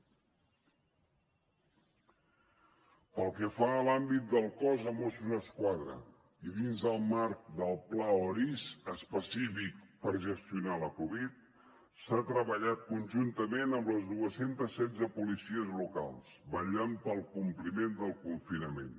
pel que fa a l’àmbit del cos de mossos d’esquadra i dins el marc del pla oris específic per gestionar la covid s’ha treballat conjuntament amb les dos cents i setze policies locals vetllant pel compliment del confinament